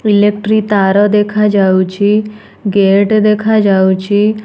Electric ତାର ଦେଖାଯାଉଛି gate ଦେଖାଯାଉଛି।